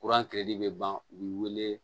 bɛ ban u bi wele